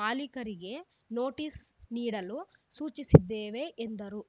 ಮಾಲೀಕರಿಗೆ ನೊಟೀಸ್‌ ನೀಡಲು ಸೂಚಿಸಿದ್ದೇವೆ ಎಂದರು